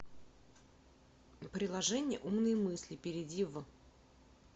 приложение умные мысли перейди в